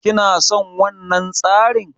Kina son wannan tsarin?